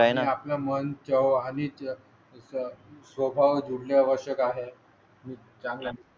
आहे ना? चव्हाण हीचा स्वभाव जोडल्या वर्ष आहे. मी चांगल्या.